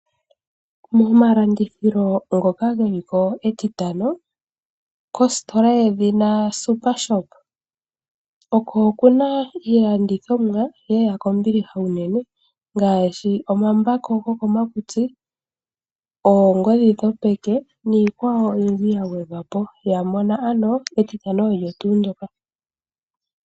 Momalandithilo ngoka geli ko Etitano kositola yedhina SuperShop oko kuna iilandithomwa lela kombiliha unene ngaashi omambako gokomakutsi, oongodhi dhopeke niikwawo oyindji ya gwedhwa po. Ya mona ano Etitano olyo tuu ndyoka.